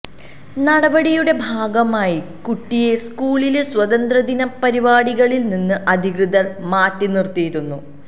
നടപടിയുടെ ഭാഗമായി കുട്ടിയെ സ്കൂളിലെ സ്വാതന്ത്ര്യദിന പരിപാടികളില് നിന്ന് അധികൃതര് മാറ്റി നിര്ത്തിയിരുന്നു